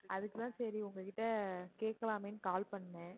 அதுக்கு தான் சரி உங்ககிட்ட கேட்கலாமேன்னு call பண்ணேன்